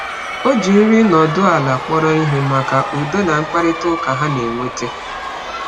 Ọ ji nri nọdụ ala kpọrọ ihe maka udo na mkparịta ụka ha na-eweta.